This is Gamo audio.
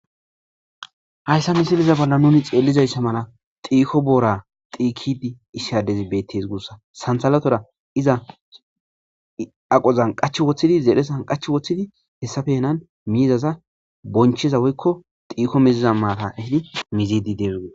hayssa misiliza bolla nuni xeellizayssa mala xiiko boora xiikidi isshadezi bettes guussa santhalatora iza aqozan qach woththidi zeedhe san qach woththidi hessafenan miizaza boncheza woykko xiiko miziza maata ehidi mizidi dees gus